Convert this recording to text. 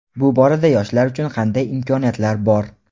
Bu borada yoshlar uchun qanday imkoniyatlar bor?.